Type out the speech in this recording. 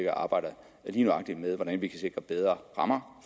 og arbejder med hvordan vi kan sikre bedre rammer